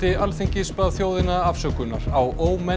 Alþingis bað þjóðina afsökunar á